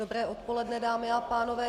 Dobré odpoledne, dámy a pánové.